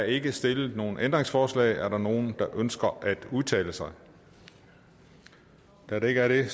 ikke stillet nogen ændringsforslag er der nogen der ønsker at udtale sig da der ikke er det